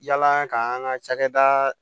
Yala ka an ka cakɛda